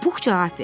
Pux cavab verdi.